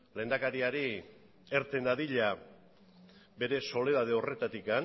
lehendakariari irten dadila bere soledade horretatik